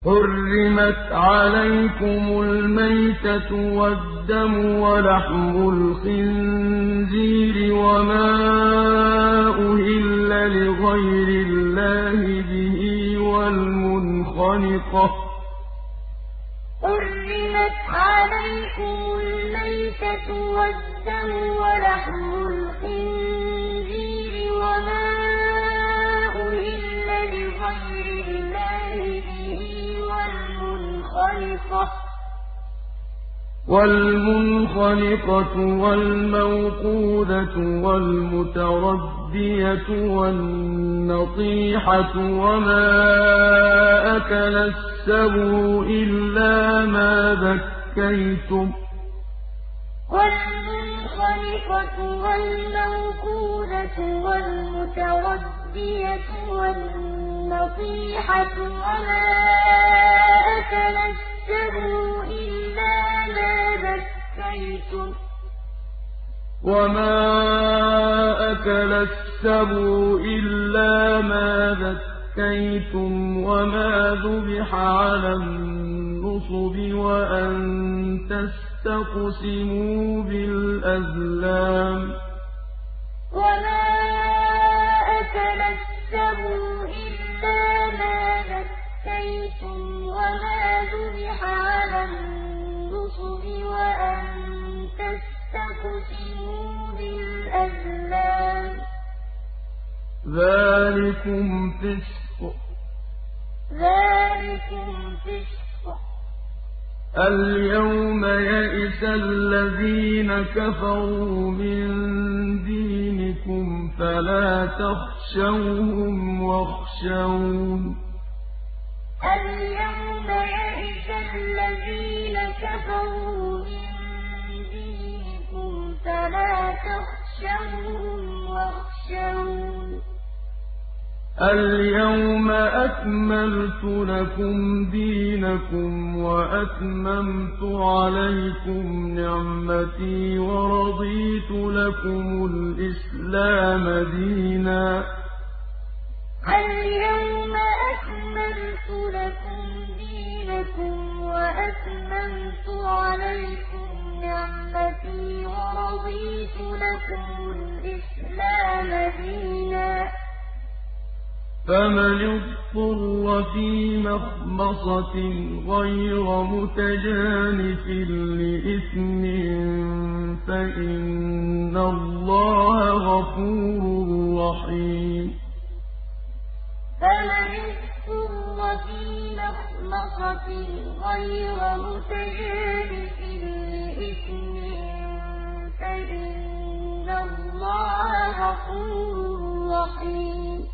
حُرِّمَتْ عَلَيْكُمُ الْمَيْتَةُ وَالدَّمُ وَلَحْمُ الْخِنزِيرِ وَمَا أُهِلَّ لِغَيْرِ اللَّهِ بِهِ وَالْمُنْخَنِقَةُ وَالْمَوْقُوذَةُ وَالْمُتَرَدِّيَةُ وَالنَّطِيحَةُ وَمَا أَكَلَ السَّبُعُ إِلَّا مَا ذَكَّيْتُمْ وَمَا ذُبِحَ عَلَى النُّصُبِ وَأَن تَسْتَقْسِمُوا بِالْأَزْلَامِ ۚ ذَٰلِكُمْ فِسْقٌ ۗ الْيَوْمَ يَئِسَ الَّذِينَ كَفَرُوا مِن دِينِكُمْ فَلَا تَخْشَوْهُمْ وَاخْشَوْنِ ۚ الْيَوْمَ أَكْمَلْتُ لَكُمْ دِينَكُمْ وَأَتْمَمْتُ عَلَيْكُمْ نِعْمَتِي وَرَضِيتُ لَكُمُ الْإِسْلَامَ دِينًا ۚ فَمَنِ اضْطُرَّ فِي مَخْمَصَةٍ غَيْرَ مُتَجَانِفٍ لِّإِثْمٍ ۙ فَإِنَّ اللَّهَ غَفُورٌ رَّحِيمٌ حُرِّمَتْ عَلَيْكُمُ الْمَيْتَةُ وَالدَّمُ وَلَحْمُ الْخِنزِيرِ وَمَا أُهِلَّ لِغَيْرِ اللَّهِ بِهِ وَالْمُنْخَنِقَةُ وَالْمَوْقُوذَةُ وَالْمُتَرَدِّيَةُ وَالنَّطِيحَةُ وَمَا أَكَلَ السَّبُعُ إِلَّا مَا ذَكَّيْتُمْ وَمَا ذُبِحَ عَلَى النُّصُبِ وَأَن تَسْتَقْسِمُوا بِالْأَزْلَامِ ۚ ذَٰلِكُمْ فِسْقٌ ۗ الْيَوْمَ يَئِسَ الَّذِينَ كَفَرُوا مِن دِينِكُمْ فَلَا تَخْشَوْهُمْ وَاخْشَوْنِ ۚ الْيَوْمَ أَكْمَلْتُ لَكُمْ دِينَكُمْ وَأَتْمَمْتُ عَلَيْكُمْ نِعْمَتِي وَرَضِيتُ لَكُمُ الْإِسْلَامَ دِينًا ۚ فَمَنِ اضْطُرَّ فِي مَخْمَصَةٍ غَيْرَ مُتَجَانِفٍ لِّإِثْمٍ ۙ فَإِنَّ اللَّهَ غَفُورٌ رَّحِيمٌ